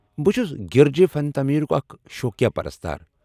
بہِ چُھس گِرجہِ فن تعمیرُک اکھ شوقیا پرستار ۔